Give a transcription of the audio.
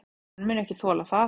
Hann mun ekki þola það.